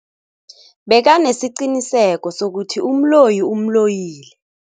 Bekanesiqiniseko sokuthi umloyi umloyile.